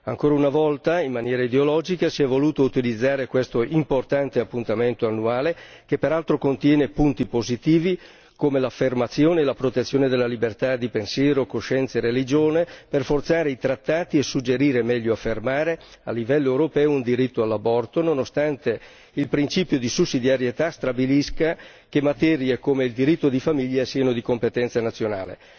Ancora una volta in maniera ideologica si è voluto utilizzare questo importante appuntamento annuale, che peraltro contiene punti positivi, come l'affermazione e la protezione della libertà di pensiero, coscienza e religione, per forzare i trattati e suggerire, o meglio affermare a livello europeo un diritto all'aborto, nonostante il principio di sussidiarietà stabilisca che materie come il diritto di famiglia siano di competenza nazionale.